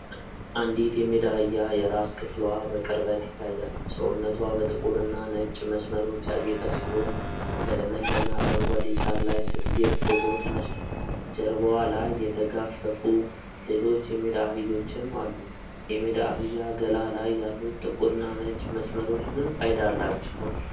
አንዲት የሜዳ አህያ የራስ ክፍልዋ በቅርበት ይታያል። ሰውነቷ በጥቁር እና ነጭ መስመሮች ያጌጠ ሲሆን፣ በለመለመ አረንጓዴ ሳር ላይ ስትግጥ ፎቶ ተነስቷል። ጀርባዋ ላይ የተጋፈፉ ሌሎች የሜዳ አህዮችም አሉ። የሜዳ አህያ ገላ ላይ ያሉት ጥቁርና ነጭ መስመሮች ምን ፋይዳ አላቸው?